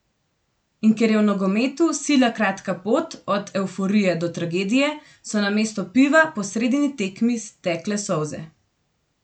In ker je v nogometu sila kratka pot od evforije do tragedije, so namesto piva po sredini tekmi tekle solze.